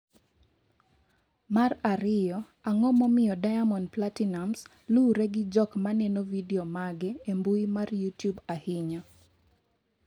mar ariyo, Ang’o momiyo Diamond Platinumz luwre gi jok maneno vidio mage e mbui mar Youtube ahinya?